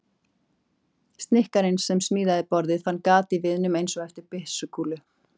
Snikkarinn sem smíðaði borðið fann gat í viðnum- einsog eftir byssukúlu.